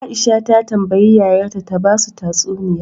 Aisha ta tambayi yayar ta ta basu tatsuniya